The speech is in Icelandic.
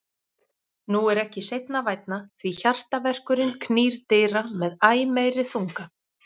Nú er ekki seinna vænna, því HJARTAVERKURINN knýr dyra með æ meiri þunga.